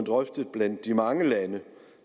blandt de mange lande